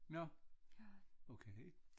Nåh okay